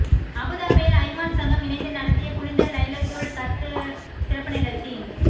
அபுதாபியில் அய்மான் சங்கம் இணைந்து நடத்திய புனித லைலத்துல் கத்ர் சிறப்பு நிகழ்ச்சி